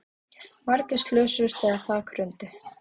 Margir slösuðust þegar þak hrundi